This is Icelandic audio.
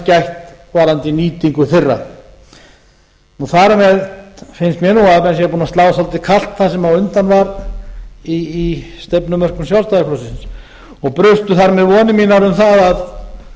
gætt varðandi nýtingu þeirra þar með finnst mér að búið sé að slá svolítið kalt sem undan var í stefnumörkun sjálfstæðisflokksins brustu þar með vonir mínar um það að